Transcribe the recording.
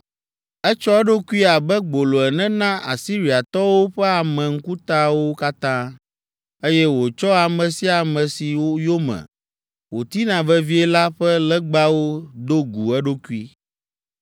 Etsɔ eɖokui abe gbolo ene na Asiriatɔwo ƒe ame ŋkutawo katã, eye wòtsɔ ame sia ame si yome wòtina vevie la ƒe legbawo do gu eɖokui.